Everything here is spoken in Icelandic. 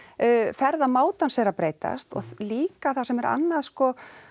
ferðamátans er að breytast og líka það sem er annað sko